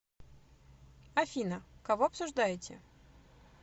афина кого обсуждаете